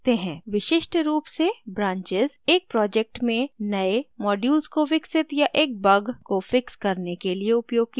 विशिष्ट रूप से branches एक project में नए modules को विकसित या एक bug को fix करने के लिए उपयोग की जाती हैं